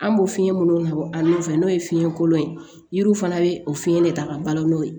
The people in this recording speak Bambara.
An b'o fiɲɛ minnu labɔ a nun fɛ n'o ye fiɲɛ kolon ye yiri fana bɛ o fiɲɛ de ta ka balo n'o ye